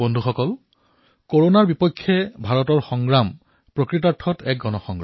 বন্ধুসকল ভাৰতত কৰোনাৰ বিৰুদ্ধে যুঁজ প্ৰকৃততেই জনসাধাৰণৰ দ্বাৰা পৰিচালিত হৈছে